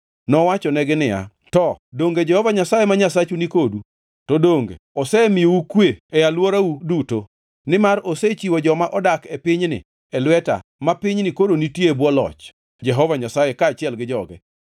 Nowachonegi niya, “To donge Jehova Nyasaye ma Nyasachu ni kodu? To donge osemiyou kwe e alworau duto? Nimar osechiwo joma odak e pinyni e lweta ma pinyni koro nitie e bwo loch Jehova Nyasaye kaachiel gi joge.